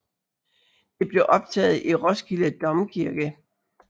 Det blev optaget i Roskilde Domkirke